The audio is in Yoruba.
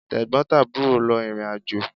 Tẹ̀gbọ́n tàbúrò lọ ìrìnàjò